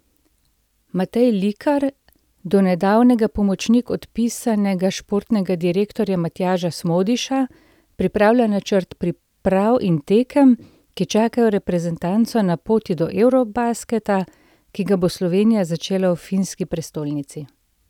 Matej Likar, donedavnega pomočnik odpisanega športnega direktorja Matjaža Smodiša, pripravlja načrt priprav in tekem, ki čakajo reprezentanco na poti do eurobasketa, ki ga bo Slovenija začela v finski prestolnici.